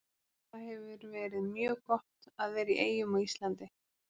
Það hefur verið mjög gott að vera í Eyjum og á Íslandi.